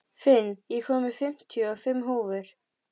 Finn, ég kom með fimmtíu og fimm húfur!